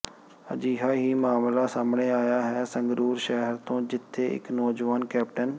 ਅਜਿਹਾ ਹੀ ਮਾਮਲਾ ਸਾਹਮਣੇ ਆਇਆ ਹੈ ਸੰਗਰੂਰ ਸ਼ਹਿਰ ਤੋਂ ਜਿੱਥੇ ਇਕ ਨੋਜਵਾਨ ਕੈਪਟਨ